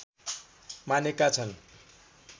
मानेका छन्